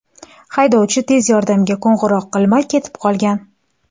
Haydovchi tez yordamga qo‘ng‘iroq qilmay ketib qolgan.